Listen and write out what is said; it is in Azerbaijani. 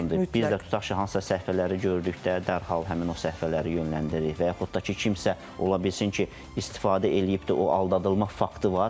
Biz də tutaq ki, hansısa səhifələri gördükdə dərhal həmin o səhifələri yönləndiririk və yaxud da ki, kimsə ola bilsin ki, istifadə eləyib, o aldadılma faktı var.